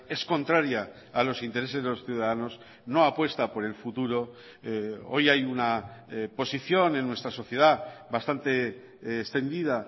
es contraria a los intereses de los ciudadanos no apuesta por el futuro hoy hay una posición en nuestra sociedad bastante extendida